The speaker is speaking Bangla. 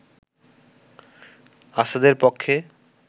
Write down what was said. আসাদের পক্ষে